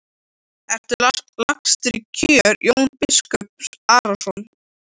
Ertu lagstur í kör Jón biskup Arason?